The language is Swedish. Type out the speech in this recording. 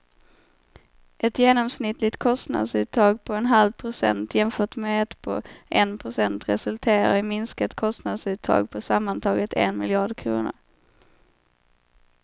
Ett genomsnittligt kostnadsuttag på en halv procent jämfört med ett på en procent resulterar i minskat kostnadsuttag på sammantaget en miljard kronor.